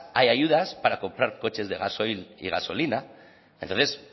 hay ayudas para comprar coches de gasoil y gasolina entonces